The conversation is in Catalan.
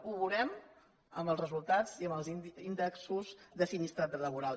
ho veurem amb els resultats i amb els índexs de sinistralitat laboral